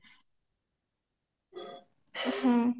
ହୁଁ